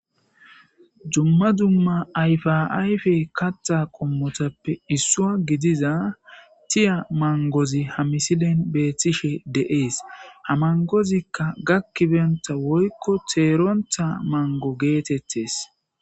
Dumma dumma ayfaayfe katta qommotappe issua gidiza tiya mangozi hamisilen beethtishe de'ees hamangozikka gakkibenta woykko teerontha mango geetettes.